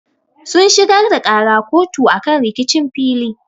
Sun shigar da ƙara kotu akan rikicin fili.